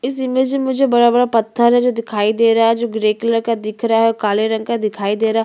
इस इमेज में मुझे बड़ा - बड़ा पत्थर है जो दिखाई दे रहा है जो ग्रे कलर का दिख रहा है व काले रंग का दिखाई दे रहा --